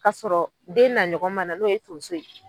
Ka sɔrɔ den na ɲɔgɔn ma na n'o ye tonso ye.